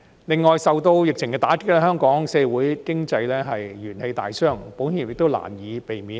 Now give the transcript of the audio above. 此外，受到疫情打擊，香港社會經濟元氣大傷，保險業亦難以避免。